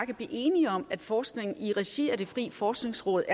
kan blive enige om at forskning i regi af det frie forskningsråd